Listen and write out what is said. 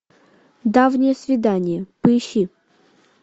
давнее свидание поищи